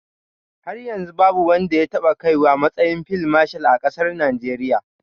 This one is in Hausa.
Har yanzu babu wanda ya taɓa kaiwa matsayin fil mashal a ƙasar Najeriya.